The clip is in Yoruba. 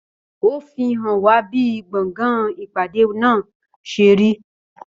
Ó fi hàn wá bí gbọ̀ngàn ìpàdé náà ṣe rí.